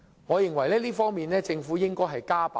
在這方面，我認為政府應加把勁。